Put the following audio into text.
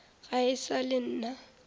ga e sa le nna